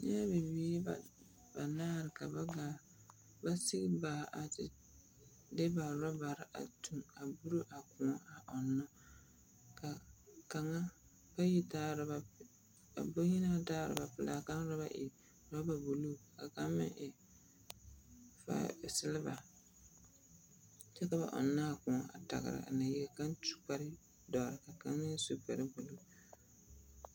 Bibiiri ba.. banaare ka ba gaa.. ba sigi baa a te de ba orabare a tuŋ a buro a kõɔ ɔnnɔ. Ka kaŋa… bayi taa orɛba p…. bayi na naŋ taa oraba pelaa kaŋ oraba e oraba buluu ka kaŋ meŋ e ba e seleba kyɛka ba ɔnnɔ a kõɔ a tagera nay i ka su kpare dɔre ka kaŋ meŋ su kpare gbɛgele.